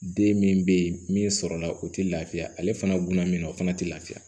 Den min bɛ yen min sɔrɔla o tɛ lafiya ale fana buna mina o fana tɛ lafiya